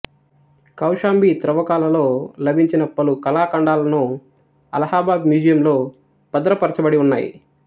కౌశాంబి త్రవ్వకాలలో లభించిన పలు కళాఖండాలను అలహాబాద్ మ్యూజియంలో భద్రపరచబడిఉన్నాయి